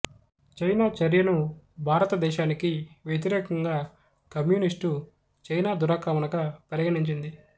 China చర్యను భారతదేశానికి వ్యతిరేకంగా కమ్యూనిస్టు చైనా దురాక్రమణగా పరిగణించింది